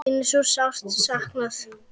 Þín er svo sárt saknað.